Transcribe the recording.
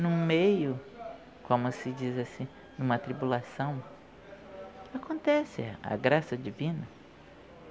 No meio, como se diz assim, em uma tribulação, acontece a graça divina.